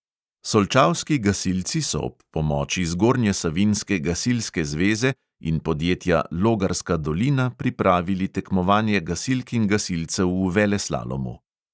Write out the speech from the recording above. Solčavski gasilci so ob pomoči zgornjesavinjske gasilske zveze in podjetja logarska dolina pripravili tekmovanje gasilk in gasilcev v veleslalomu.